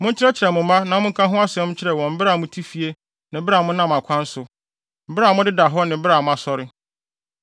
Monkyerɛkyerɛ mo mma na monka ho asɛm nkyerɛ wɔn bere a mote fie ne bere a monam akwan so; bere a modeda hɔ ne bere a mosɔre.